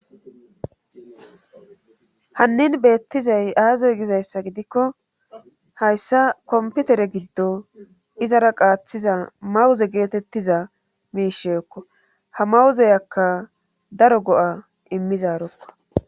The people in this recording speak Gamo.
hannin beettizay aaze gizayssa gidikko hayssa komputere giddo izara qaaththiza mawuze geetettiza miisheekko ha mawuzeyakka daro go7a immizarokko